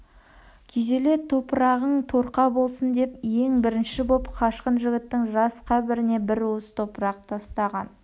күйзеле топырағың торқа болсын деп ең бірінші боп қашқын жігіттің жас қабіріне бір уыс топырақ тастаған